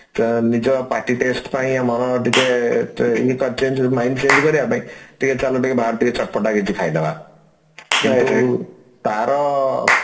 ତ ନିଜ ପାଟି taste ପାଇଁ ଆମର ଟିକେ mind change କରିବା ପାଇଁ ଚାଲ ଟିକେ ବାହାର ଟିକେ ଚଟପଟା କିଛି ଖାଇଦବା ତାର